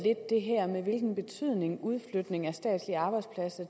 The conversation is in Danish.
det her med hvilken betydning udflytning af statslige arbejdspladser